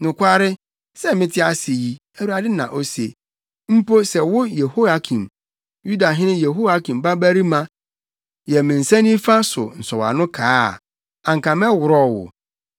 “Nokware, sɛ mete ase yi,” Awurade na ose, “Mpo sɛ wo Yehoiakin, Yudahene Yehoiakim babarima yɛ me nsa nifa so nsɔwano kaa a, anka mɛworɔw wo.